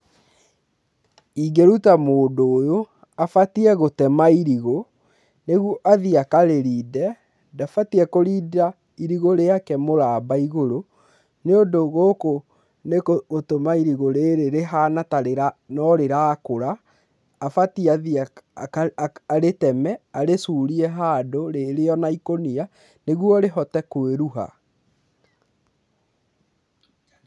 Ingĩruta mũndũ ũyũ abatiĩ gũtema irigũ nĩguo athiĩ akarĩrinde ndabatiĩ kũrinda irigũ rĩake mũraba igũrũ nĩ ũndũ gũkũ nĩ gũtũma irigũ rĩrĩ rĩhana ta no rĩrakũra abatiĩ athiĩ arĩteme arĩcurie handũ rĩrĩ o na ikũnia nĩguo rĩhote kwĩruha.